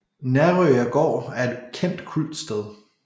Nærøya gård er et kendt kultsted